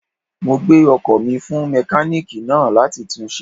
Mo gbé ọkò mi fún mékáníìkì náà láti tun ṣe